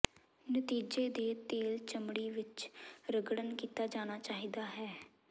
ਨਤੀਜੇ ਦੇ ਤੇਲ ਚਮੜੀ ਵਿੱਚ ਰਗੜਨ ਕੀਤਾ ਜਾਣਾ ਚਾਹੀਦਾ ਹੈ